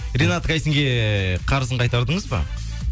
ринат гайсинге қарызын қайтардыңыз ба